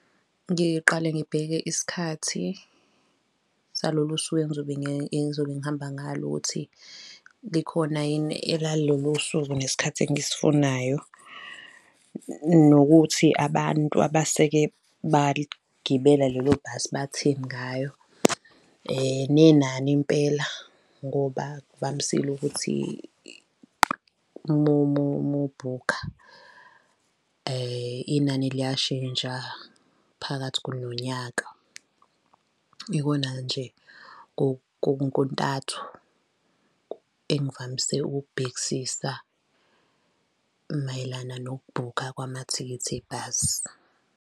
Ngiqale ngibheke isikhathi salolu suku engizobe engizobe ngihamba ngalo ukuthi, likhona yini elalelo suku nesikhathi engisifunayo, nokuthi abantu abaseke baligibela lelo bhasi batheni ngayo, nenani impela ngoba kuvamisile ukuthi uma bhukha inani liyashintsha phakathi nonyaka. Ikona nje kontathu engivamise ukukubhekisisa mayelana nokubhukha kwamathikithi ebhasi.